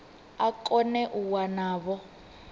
a kone u wana vho